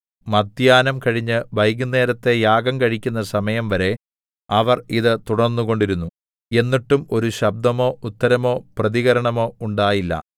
മദ്ധ്യാഹ്നം കഴിഞ്ഞ് വൈകുന്നേരത്തെ യാഗം കഴിക്കുന്ന സമയംവരെ അവർ ഇത് തുടർന്നുകൊണ്ടിരുന്നു എന്നിട്ടും ഒരു ശബ്ദമോ ഉത്തരമോ പ്രതികരണമോ ഉണ്ടായില്ല